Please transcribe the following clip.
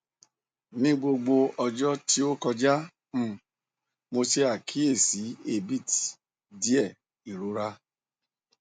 ni gbogbo ọjọ ti o kọja um mo ṣe akiyesi abit diẹ irora